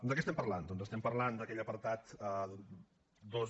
de què estem parlant doncs estem parlant d’aquell apartat dos